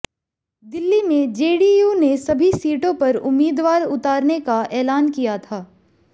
दिल्ली में जेडीयू ने सभी सीटों पर उम्मीदवार उतारने का ऐलान किया था